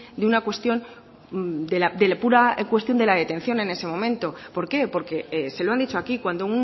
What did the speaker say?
de una pura cuestión de la detención en ese momento por qué porque se lo han dicho aquí cuando